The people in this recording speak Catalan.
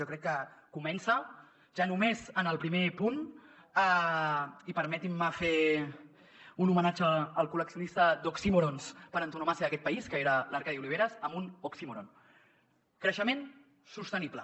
jo crec que comença ja només en el primer punt i permetin me fer un homenatge al col·leccionista d’oxímorons per antonomàsia d’aquest país que era l’arcadi oliveres amb un oxímoron creixement sostenible